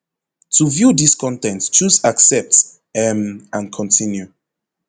to view dis con ten t choose accept um and continue